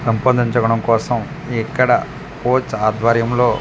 పెంపొందించడం కోసం ఇక్కడ కోచ్ ఆద్వర్యం లో .